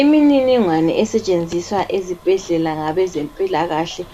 Imininingwane esetshenziswa ezibhedlela ngabezempilakahle